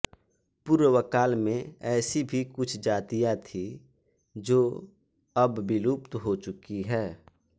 पूर्वकाल में ऐसी भी कुछ जातियाँ थी जो अब विलुप्त हो चुकी हैं